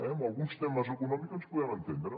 en alguns temes econòmics ens podem entendre